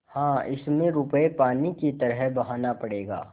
हाँ इसमें रुपये पानी की तरह बहाना पड़ेगा